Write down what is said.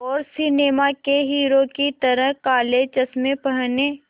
और सिनेमा के हीरो की तरह काले चश्मे पहने